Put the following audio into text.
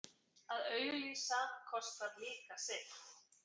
Að auglýsa kostar líka sitt.